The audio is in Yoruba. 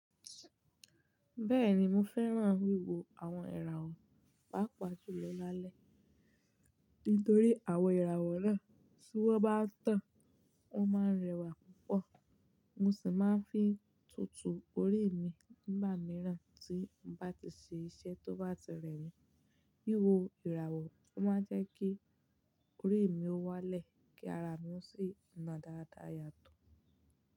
Bẹ́ẹ̀ni mo fẹ́ràn wíwo àwọn ìràwọ̀ pàápàá jù lọ lálẹ́. Nítorí àwọn ìràwọ̀ náà tí wọ́n bá tàn, wọ́n máa ń rẹwà púpọ̀. Mo sì máa ń fi tútù orí mi nígbà mìíràn tí mo bá ti ṣe iṣẹ́ tó bá ti rẹ mi. Wíwo ìràwọ̀ máa ń jẹ́ kí orí mi wálẹ̀ kí ara mi ó sì na dáradára yàtọ̀.